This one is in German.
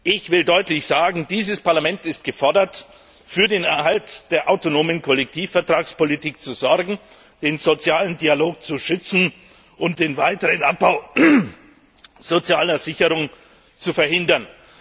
Ich will deutlich sagen, dieses Parlament ist gefordert, für den Erhalt der autonomen Kollektivvertragspolitik zu sorgen, den sozialen Dialog zu schützen und den weiteren Abbau sozialer Sicherung zu verhindern.